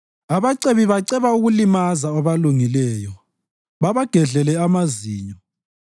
Ababi baceba ukulimaza abalungileyo babagedlele amazinyo;